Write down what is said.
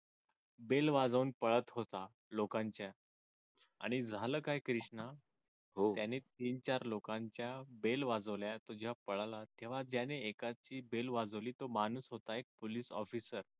bell वाजवून पळत होता. लोकांच्या आणि झालं काय कृष्णा त्याने तीन चार लोकांच्या bell वाजविल्या आणि तो पळाला तेव्हा त्याने एकाची bell वाजविली तो माणूस होता एक police officer